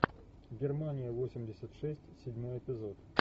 германия восемьдесят шесть седьмой эпизод